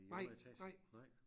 Nej nej